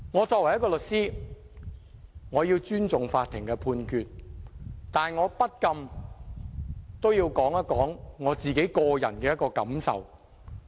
作為一名律師，我要尊重法院的判決，但我不禁要說一說我個人的感受。